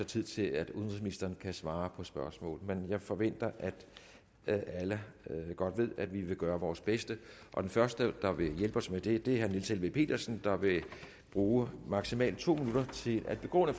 tid til at udenrigsministeren kan svare på spørgsmål men jeg forventer at alle godt ved at vi vil gøre vores bedste den første der vil hjælpe os med det er herre niels helveg petersen der vil bruge maksimalt to minutter til at begrunde